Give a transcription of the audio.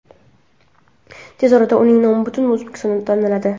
Tez orada uning nomi butun O‘zbekistonda taniladi.